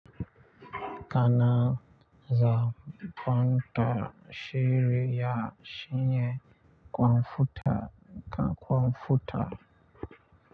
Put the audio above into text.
Kana za kwantar shirya shingen kwamfuta ka kwamfuta.